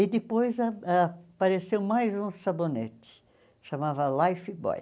E depois a apareceu mais um sabonete, chamava Lifebuoy.